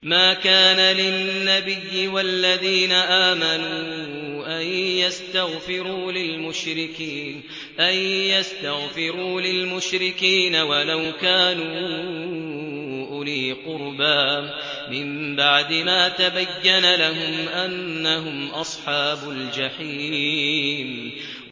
مَا كَانَ لِلنَّبِيِّ وَالَّذِينَ آمَنُوا أَن يَسْتَغْفِرُوا لِلْمُشْرِكِينَ وَلَوْ كَانُوا أُولِي قُرْبَىٰ مِن بَعْدِ مَا تَبَيَّنَ لَهُمْ أَنَّهُمْ أَصْحَابُ الْجَحِيمِ